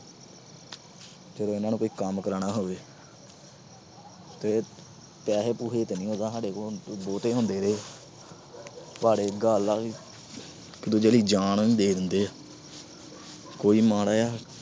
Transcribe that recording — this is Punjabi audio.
ਜਦੋਂ ਇਹਨਾਂ ਨੂੰ ਕੋਈ ਕੰਮ ਕਰਾਨਾ ਹੋਵੇ, ਤੇ ਪੈਸੇ ਪੁਸੈ ਤਾਂ ਉਦਾ ਨੀ ਸਾਡੇ ਕੋਲ ਬਹੁਤੇ ਹੁੰਦੇ ਵੇ ਪਰ ਗੱਲ ਇਹ ਆ ਕਿ ਇੱਕ ਦੂਜੇ ਲਈ ਜਾਨ ਵੀ ਦੇ ਦਿੰਦੇ ਆ। ਕੋਈ ਮਾੜਾ ਜਾ